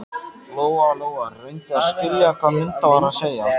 Lóa-Lóa reyndi að skilja hvað Munda var að segja.